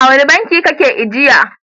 A wane banki kake ajiya?